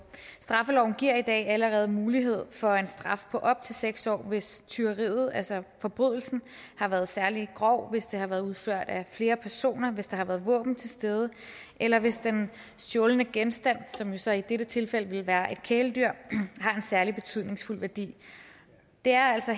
straffeloven giver i dag allerede mulighed for en straf på op til seks år hvis tyveriet altså forbrydelsen har været særlig grov hvis den har været udført af flere personer hvis der har været våben til stede eller hvis den stjålne genstand som jo så i dette tilfælde vil være et kæledyr har en særlig værdi det er altså